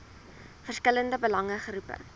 verskillende belange groepe